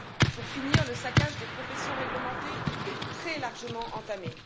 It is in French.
pour finir, le saccage des professions réglementées est très largement entamé.